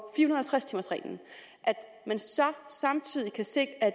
tres timers reglen samtidig kan se at